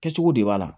Kɛcogo de b'a la